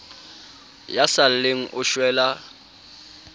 ya sa lleng o shwela